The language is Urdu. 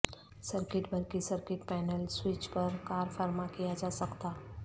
سرکٹ برقی سرکٹ پینل سوئچ پر کارفرما کیا جا سکتا